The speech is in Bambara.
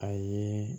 A ye